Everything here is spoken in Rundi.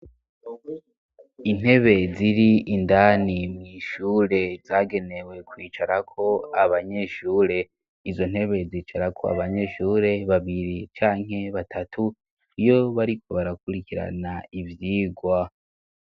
Intebe ziri indani mw'ishure zagenewe kwicara ko abanyeshure, izo ntebe zicara ko abanyeshure babiri canke batatu iyo bariko barakurikirana ivyigwa.